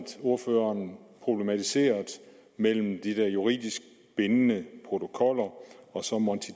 ordføreren problematiserede de der juridisk bindende protokoller og så monti